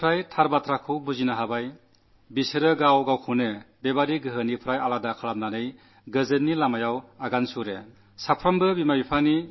യാഥാർഥ്യം പ്രകടമാകുന്നതനുസരിച്ച് അവർ അത്തരക്കാരിൽ നിന്നും സ്വയം അകന്നുനിന്ന് ശാന്തിയുടെ പാതയിലൂടെ നടക്കാൻ തുടങ്ങിയിരിക്കുന്നു